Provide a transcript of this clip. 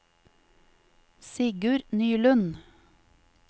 Sigurd Nylund